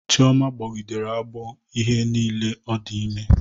Chioma gbogidere agbọ ihe niile o di ime